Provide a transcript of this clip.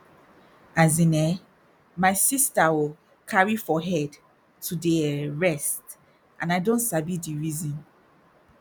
as in eh my sister ooohh carry for head to dey um rest and i don sabi di reason